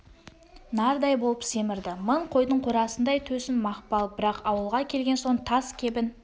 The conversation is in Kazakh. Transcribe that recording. нардай болып семірді мың қойдың қорасындай төсің мақпал бірақ ауылға келген соң таз кебін